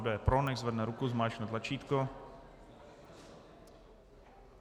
Kdo je pro, nechť zvedne ruku, zmáčkne tlačítko.